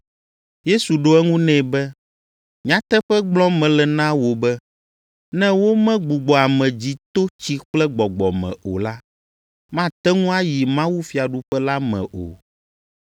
Yesu ɖo eŋu nɛ be, “Nyateƒe gblɔm mele na wò be, ne womegbugbɔ ame dzi to tsi kple gbɔgbɔ me o la, mate ŋu ayi mawufiaɖuƒe la me o.